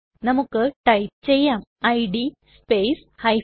നമുക്ക് ടൈപ്പ് ചെയ്യാം id space g